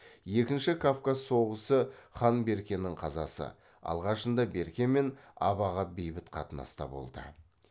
екінші кавказ соғысы хан беркенің қазасы алғашында берке мен абаға бейбіт қатынаста болды